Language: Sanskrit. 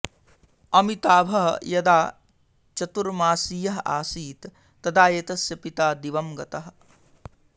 अमिताभः यदा चतुर्मासीयः असीत् तदा एतस्य पिता दिवंगतः